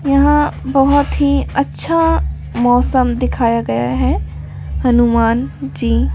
यहां बहुत ही अच्छा मौसम दिखाया गया है हनुमान जी--